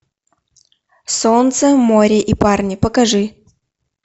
солнце море и парни покажи